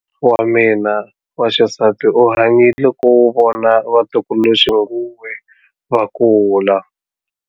Wa mina wa xisati u hanyile ku vona vatukuluxinghuwe va kula.